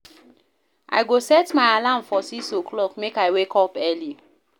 I go set my alarm for 6 o'clock, make I wake up early.